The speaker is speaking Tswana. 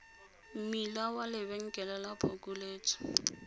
mmila wa lebenkele la phokoletso